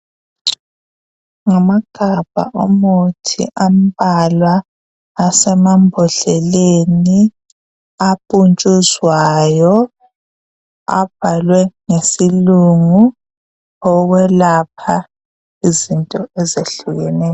Ngamagabha omuthi amabalwa asemambodleleni apuntshuzwayo abhalwe ngesilungu okwelapha izinto ezehlukeneyo.